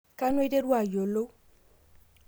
Kanu aiterua ayiolou?